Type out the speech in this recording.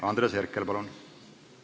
Andres Herkel, palun!